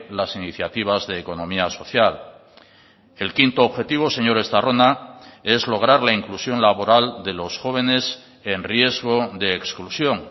las iniciativas de economía social el quinto objetivo señor estarrona es lograr la inclusión laboral de los jóvenes en riesgo de exclusión